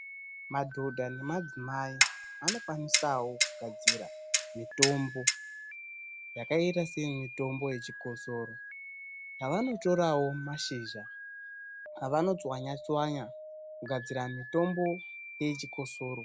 Madhodha nemadzimai anokwanisawo kugadzira mitombo yakaita seye mitombo yechikosoro yavanotorawo mashizha avano tswanya tswanya kugadzira mitombo yechikosoro.